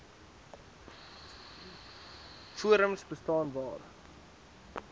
forums bestaan waar